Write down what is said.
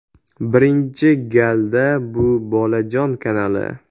Birinchi galda bu ‘Bolajon’ kanali.